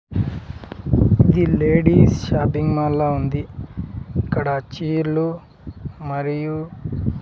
the ladies shopping mall లా ఉంది ఇక్కడ చీరలు మరియు--